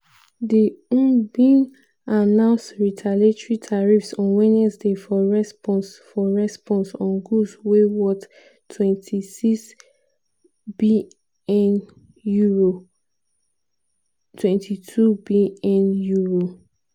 di eu bin announce retaliatory tariffs on wednesday for response for response on goods wey worth €26bn (£22bn).